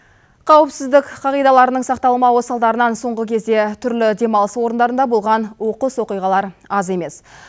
қауіпсіздің қағидаларының сақталмауы салдарынан соңғы кезде түрлі демалыс орындарында болған оқыс оқиғалар аз емес